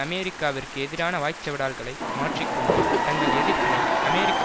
அமெரிக்காவிற்கு எதிரான வாய்ச்சவடால்களை மாற்றி கொண்டு தங்கள் எதிர்ப்பினை அமெரிக்க